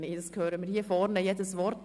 wir hören hier vorne jedes Wort.